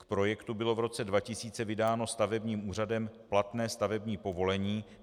K projektu bylo v roce 2000 vydáno stavebním úřadem platné stavební povolení.